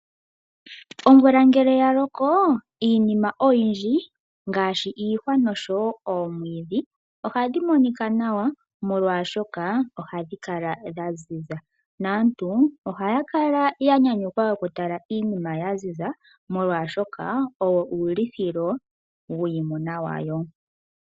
Omvula ngele ya loko iinima oyindji ngaashi iihwa nosho wo oomwiidhi oha dhi monika nawa, molwashoka ohadhi kala dha ziza. Aantu oha ya kala ya nyanyukwa oku tala iinima ya ziza molwashoka oyo uulithilo wiimuna ya wo.